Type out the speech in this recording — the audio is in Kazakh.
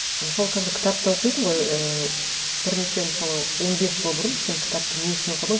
мысалы қазір кітап та оқисын ғой ііі бірнеше мысалы он бес жыл бұрын сен кітапты не үшін оқыдың